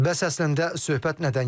Bəs əslində söhbət nədən gedir?